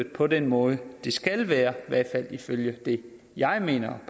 på den måde det skal være i hvert fald ifølge det jeg mener